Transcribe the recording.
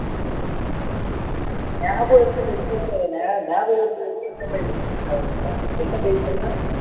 எனக்கும் ஞாபகம் இருக்கு இப்ப என்ன bike ன்னுதான் ஞாபகம் இல்லை என்ன bike சொன்ன